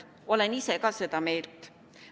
Olen ka ise seda meelt.